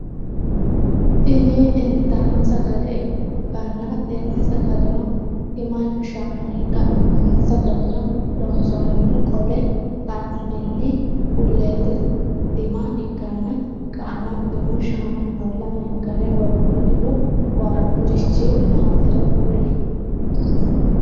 Tini inttanni sagale ikkanna tenni sagaleno timanna shaana ikkana tenne sagaleno loonsanihuni qole kaeenttinni buleete tima ikkanna qaamattono shaanaho lamenkkare woroonihu waajurichchi maatiro kuli?